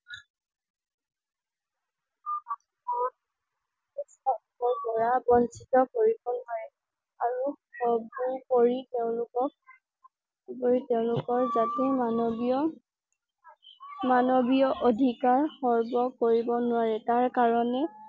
পৰা বঞ্চিত কৰিব নোৱাৰে আৰু কৰি তেওঁলোকক কৰি তেওঁলোকৰ যাতে মনবিয়মানৱীয় অধিকাৰ সৰ্ব কৰিব নোৱাৰে তাৰ কাৰণে